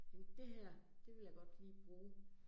Tænke det her, det vil jeg godt lige bruge